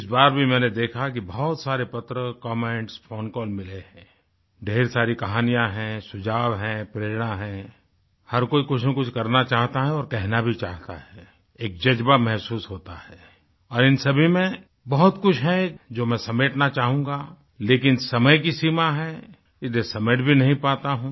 इस बार भी मैंने देखा कि बहुत सारे पत्र कमेंट्स फोन कॉल मिले हैं ढ़ेर सारी कहानियां हैं सुझाव हैं प्रेरणा हैंहर कोई कुछ ना कुछ करना चाहता है और कहना भी चाहता है एक जज़्बा महसूस होता है और इन सभी में बहुत कुछ है जो मैं समेटना चाहूँगा लेकिन समय की सीमा है इसलिये समेट भी नहीं पाता हूँ